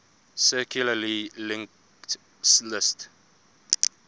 circularly linked list